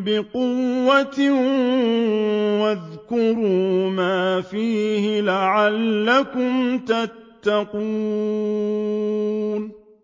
بِقُوَّةٍ وَاذْكُرُوا مَا فِيهِ لَعَلَّكُمْ تَتَّقُونَ